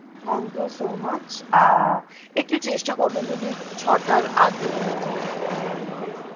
Thank you so much, একটু চেষ্টা করবেন যদি ছ তার আগে হয়ে যাই তো খুবই ভালো হয়,